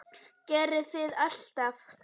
Gerði það alltaf.